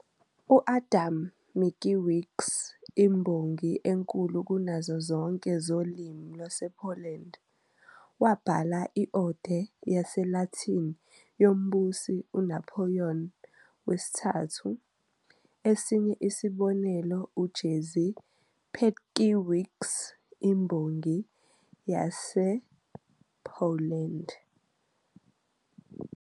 U-Adam Mickiewicz, imbongi enkulu kunazo zonke zolimi lwasePoland, wabhala i-ode yesiLatini yombusi uNapoleon III. Esinye isibonelo uJerzy Pietrkiewicz, imbongi yasePoland.